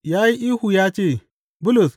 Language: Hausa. Ya yi ihu ya ce, Bulus!